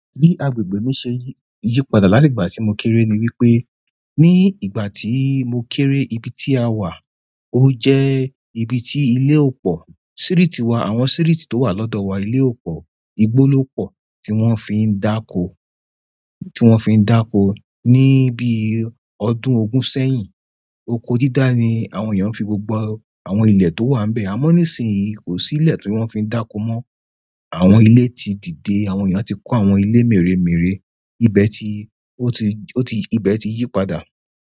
Bi agbègbè mi ṣe yípadà láti ìgbà tí mo kéré ni wípé ní ìgbà tí mo kéré ibi tí a wà o jẹ ibi ti ile o pọ. Siriiti wa, àwọn siriiti to wa lọdọ wa ile o pọ, igbo lo pọ ti wọn fin dako ti wọn fin dako ni bi ọdún ogun sẹ́yìn oko dida ni àwọn eyan n fi gbogbo àwọn ile to wa n be. Àmọ́ nísìnyí kò sí ilẹ̀ tí wọ́n fi ń dáko mọ́. Àwọn ilé ti dìde, àwọn èèyàn ti kó àwọn ilé mèremère, ibẹ̀ ti ó ti ó ti ìbẹ̀ ti yípadà.